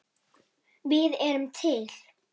Við erum til!